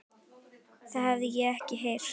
Það hef ég ekki heyrt.